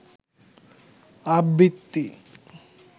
আবৃত্তি